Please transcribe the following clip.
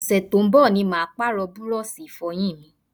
Ọ̀sẹ̀ tó ń bọ̀ ni màá Pààrọ̀ búrọ́ọ̀ṣì Ìfọ̀yín mi